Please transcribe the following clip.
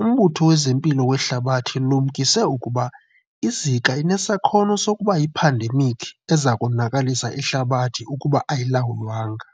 UMbutho wezeMpilo weHlabathi ulumkise ukuba iZika inesakhono sokubayiphandemiki eza konakalisa ihlabathi ukuba ayilawulwanga.